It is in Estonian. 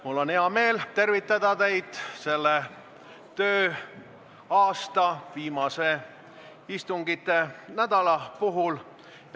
Mul on hea meel tervitada teid selle tööaasta viimase istunginädala puhul.